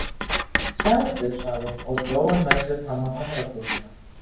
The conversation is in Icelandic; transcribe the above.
Sjáðu sagði hún og dró hann með sér fram á hamrabrúnina.